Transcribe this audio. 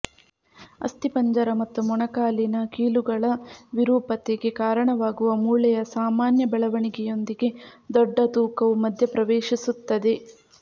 ಅಸ್ಥಿಪಂಜರ ಮತ್ತು ಮೊಣಕಾಲಿನ ಕೀಲುಗಳ ವಿರೂಪತೆಗೆ ಕಾರಣವಾಗುವ ಮೂಳೆಯ ಸಾಮಾನ್ಯ ಬೆಳವಣಿಗೆಯೊಂದಿಗೆ ದೊಡ್ಡ ತೂಕವು ಮಧ್ಯಪ್ರವೇಶಿಸುತ್ತದೆ